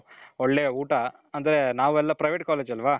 ಒಳ್ಳೆ ಊಟ ಅಂದ್ರೆ ನಾವೆಲ್ಲಾ private college ಅಲ್ವ .